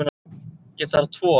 Ég þarf tvo.